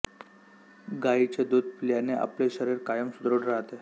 गायीचे दूध पिल्याने आपले शरीर कायम सुदृढ राहते